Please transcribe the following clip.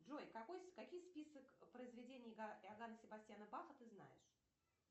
джой какой какие список произведений иогана себастьяна баха ты знаешь